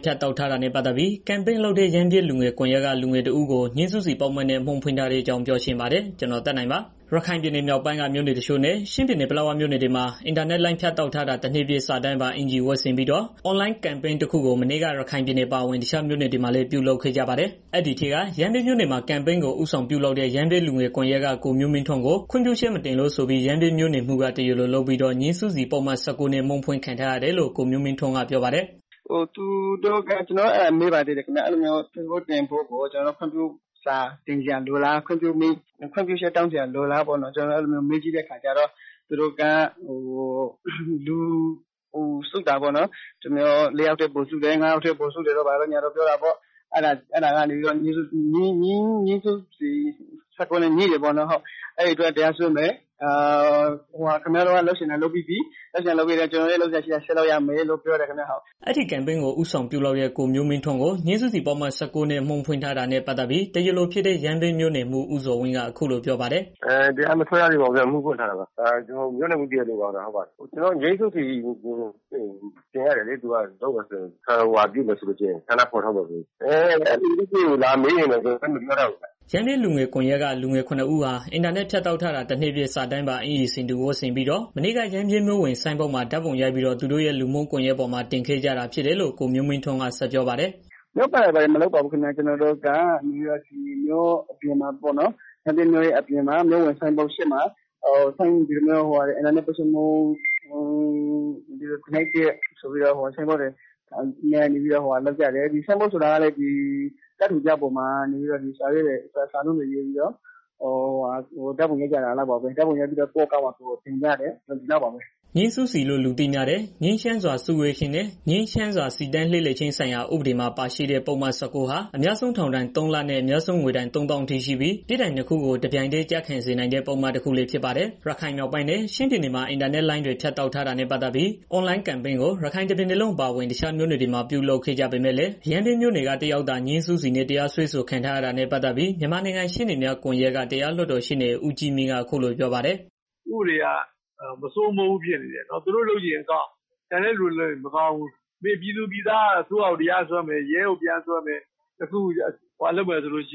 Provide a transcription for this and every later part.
းဖြတ်တောက်ထားတာနဲ့ ပတ်သတ်ပြီး အင်တာနက်အွန်လိုင်းပေါ်ကနေ ဦးဆောင်ကန့်ကွက်သူ ရမ်းဗြဲ လူငယ်ကွန်ယက်က လူငယ်တစ်ဦးကို ငြိမ်းစုစီပုဒ်မနဲ့ အမှုဖွင့်ထားတဲ့ အကြောင်းပြောချင်ပါတယ်။ ဗွီအိုအေ မြန်မာပိုင်းသတင်းထောက် ကိုသက်နိုင်က သတင်းပေးပို့ပေးထားပါတယ်။ ရခိုင်ပြည်နယ်မြောက်ပိုင်းက မြို့နယ်တချို့နဲ့ ချင်းပြည်နယ် ပလက်ဝမြို့တွေမှာ အင်တာနက်လိုင်းဖြတ်တောက်ထားတာ တစ်နှစ်ပြည့်အနေနဲ့ စာတန်းပါ အင်္ကျီဝတ်ဆင်ပြီးတော့ အွန်လိုင်းကမ်ပိန်းတစ်ခုကို မနေ့က ရခိုင်ပြည်နယ်အပါဝင် တခြားမြို့နယ်တွေမှာလည်း ပြုလုပ်ခဲ့ကြပါတယ်။ အဲဒီထဲက ရမ်းဗြဲမြို့နယ်မှာ ကမ်ပိန်းကို ဦးဆောင်ပြုလုပ်တဲ့ ရမ်းဗြဲလူငယ်ကွန်ယက် ကိုမျိုးမင်းထွန်းကို ခွင့်ပြုချက်မတင်လို့ဆိုပြီး ရမ်းဗြဲမြို့နယ်မှူးက တရားလိုလုပ်ပြီးတော့ ငြိမ်းစုစီပုဒ်မ ၁၉နဲ့ အမှုဖွင့်ခံထားရတယ်လို့ ကိုမျိုးမင်းထွန်းက ပြောပါတယ်။ "ကျနော်တို့က မေးပါသေးတယ်။ ပိုစ့်တင်တာကို ခွင့်ပြုမိန့်လိုလားလို့ မေးကြည့်တဲ့အခါကျတော့ သူတို့က လူစုတာပေါ့နော်။ ၄ ယောက်ထက် ပိုစုတယ်၊ ၅ ယောက်ထက် ပိုစုတယ်တို့ ဘာတို့ညာတို့ ပြောတာပေါ့။ အဲတာက ငြိမ်းစုစီ ၁၉ နဲ့ ညှိတာပေါ့နော်။ အဲဒါအတွက်တရားစွဲမယ်၊ ခင်ဗျာတို့က လုပ်ချင်တာ လုပ်ပြီးသွားပြီ၊ ကျနော်တို့လည်း လုပ်စရာရှိတာ ဆက်လုပ်ရမယ်ဆိုပြီးတော့ ပြောတယ်။" အဲဒီကမ်ပိန်းကို ဦးဆောင်ပြုလုပ်တဲ့ ကိုမျိုးမင်းထွန်းကို ငြိမ်းစုစီပုဒ်မ ၁၉ နဲ့ အမှုဖွင့်ထားတာနဲ့ ပတ်သတ်ပြီး တရားလိုဖြစ်တဲ့ ရမ်းဗြဲမြို့နယ်မှူး ဦးဇော်ဝင်းက အခုလိုပြောပါတယ်။ "တရားမစွဲရသေးဘူး ခင်ဗျာ။ အမှုဖွင့်ထားတာပါခင်ဗျာ။ ကျနော်တို့ ဆန္ဒဖော်ထုတ်မယ်ဆိုရင် ငြိမ်းစုစီတင်ရတယ်လေ။ အဲဖြစ်စဉ်ကို လာမေးရင် ကျနော်တို့လည်း မပြောတတ်ဘူးခင်ဗျာ။" ရမ်းဗြဲလူငယ်မျိုးဆက်သစ်ကွန်ယက်က လူငယ် ၇ ဦးဟာ အင်တာနက်ဖြတ်တောက်ထားတာ တစ်နှစ်ပြည့် စာတန်းပါ အင်္ကျီဆင်တူဝတ်ဆင်ပြီးတော့ မနေ့က ရမ်းဗြဲမြို့ဝင် ဆိုင်းပုဒ်မှာ ဓာတ်ပုံရိုက်ပြီးတော့ သူတို့ရဲ့ လူမှုကွန်ယက်ပေါ်မှာ တင်ခဲ့ကြတာဖြစ်တယ်လို့ ကိုမျိုးမင်းထွန်းက ဆက်ပြောပါတယ်။ "မြို့ပတ်တာတွေ ဘာတွေမလုပ်ပါဘူး ခင်ဗျာ။ ကျနော်တို့က မြို့ပြင်မှာပေါနော်။ မြို့ဝင်ဆိုင်ပုဒ်ရှေ့မှာ အင်တာနက် ပိတ်ဆို့မှု တစ်နှစ်ပြည့်ဆိုပြီးတော့ ဆိုင်းပုဒ်တွေ ကိုင်ပြီးတော့ ဆိုင်းပုဒ်ဆိုတာကလည်း ကပ်ထူပြားပေါ်မှာ စာရေးပြီးတော့ ဓာတ်ပုံရိုက်ပြီးတော့ ကိုယ့် အကောင့်မှာ ကိုယ်တင်ကြတယ် ဒီလောက်ပါပဲ။ " ငြိမ်းစုစီလို့ လူသိများတဲ့ ငြိမ်းချမ်းစွာ စုဝေးခြင်းနဲ့ ငြိမ်းချမ်းစွာ စီတန်းလှည့်လည်ခြင်း ဆိုင်ရာ ဥပဒေမှာ ပါရှိတဲ့ ပုဒ်မ ၁၉ဟာ အများဆုံး ထောင်ဒဏ် ၃ လနဲ့ အများဆုံး ငွေဒဏ် ၃၀,၀၀၀ အထိရှိပြီး ပြစ်ဒဏ်နှစ်ခုကို တပြိုင်တည်းကျခံစေနိုင်တဲ့ ပုဒ်မ တစ်ခုလည်းဖြစ်ပါတယ်။ ရခိုင်မြောက်ပိုင်းနဲ့ ချင်းပြည်နယ်မှာ အင်တာနက်လိုင်းဖြတ်တောက်ထားတာနဲ့ ပတ်သတ်ပြီး အွန်လိုင်းကမ်ပိန်းကို ရခိုင်တစ်ပြည်နယ်လုံး အပါအဝင် တခြားမြို့နယ်တွေမှာ ပြုလုပ်ကြပေမယ့်လည်း ရမ်းဗြဲမြို့နယ်က တစ်ယောက်သာ ငြိမ်းစုစီနဲ့ တရားစွဲဆိုခံရတာနဲ့ ပတ်သတ်ပြီး မြန်မာနိုင်ငံ ရှေ့နေများကွန်ယှက်က တရားလွှတ်တော် ရှေ့နေ ဦးကြီးမြင့် က အခုလို ပြောပါတယ်။ "ဥပဒေက မစိုးမိုးဘူးဖြစ်နေတယ်။ သူတို့လုပ်ချင်ရင် အကောင်း၊ ကျန်တဲ့ သူတွေလုပ်ရင်မကောင်းဘူး။ ပြည်သူတွေက အစိုးရကို တရားစွဲမယ်၊ ရဲကို တရားစွဲမယ်ဆိုရင် မရဘူး။ ဥပမာ အခု NLD က လူရွေး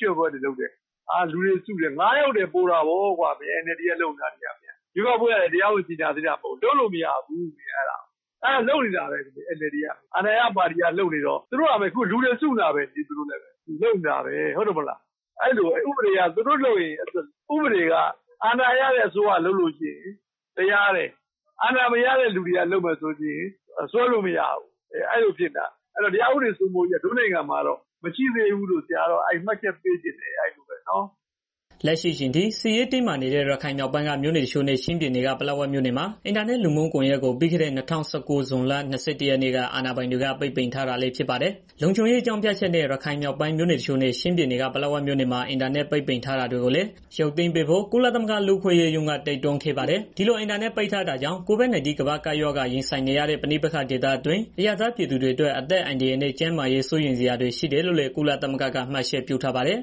ချယ်ပွဲတွေ လုပ်တယ်။ လူတွေစုတယ် ၅ ယောက်ထက် ပိုတာပေါ့ကွာ ရွေးကောက်ပွဲကလည်း တရားဝင်ကြေငြာသေးတာ မဟုတ်ဘူး။ လုပ်လို့မရဘူး.... အဲဒါ လုပ်နေတာပဲ NLD က အခုလူတွေ စုနေတာပဲ။ အဲဒါပဲ ဥပဒေက အာဏာရတဲ့ အစိုးရလုပ် လို့ရှိရင် တရားတယ်။ အာဏာမရတဲ့ လူတွေကစွဲလို့မရဘူး။ အဲလိုဖြစ်နေတာ အဲတော့ တရားဥပဒေစိုးမိုးရေးက တို့နိုင်ငံမှာတော့ မရှိသေးဘူးလို့ မှတ်ချက်ပေးချင်တယ်။" လက်ရှိအချိန်ထိ စစ်ရေးတင်းမာနေတဲ့ ရခိုင်မြောက်ပိုင်းက မြို့နယ် တချို့နဲ့ ချင်းပြည်နယ်က ပလက်ဝမြို့ နယ်မှာ အင်တာနက်လူမှုကွန်ယက်ကို ပြီးခဲ့တဲ့ ၂၁၀၉ ဇွန်လ ၂၁ရက်နေ့က အာဏာပိုင်တွေက ပိတ်ပင်ထား တာလည်း ဖြစ်ပါတယ်။ လုံခြုံရေးအကြောင်းပြချက်နဲ့ ရခိုင်မြောက်ပိုင်းမြို့နယ်အချို့နဲ့ ချင်းပြည်နယ်က ပလက်ဝမြို့နယ်မှာ အင်တာနက်ပိတ်ပင်ထားတာတွေကိုလည်း ရုပ်သိမ်းဖို့ ကုလသမဂ္ဂ လူ့အခွင့်အရေးရုံးက တိုက်တွန်းခဲ့ပါတယ်။ ဒီလိုအင်တာနက်ပိတ်တာကြောင့် COVID-19 ကမ္ဘာ့ကပ်ရောဂါ ရင်ဆိုင်နေရတဲ့ ပဋိပက္ခ ဒေသတွင်းအရပ်သားပြည်သူတွေအတွက် အသက်အန္တရာယ်နဲ့ ကျန်းမာရေးစိုးရိမ်စရာတွေ ရှိတယ်လို့လည်း ကုလသမဂ္ဂက မှတ်ချက်ပြုထားပါတယ်။